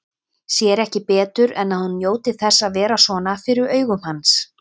Sér ekki betur en að hún njóti þess að vera svona fyrir augum hans.